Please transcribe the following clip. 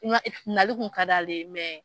Tunga e nali kun ka d'ale ye mɛ